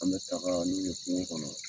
An bɛ taga n'u ye kungo kɔnɔ.